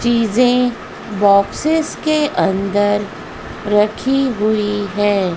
चीजें बॉक्स के अंदर रखी हुई है।